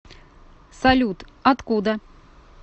салют откуда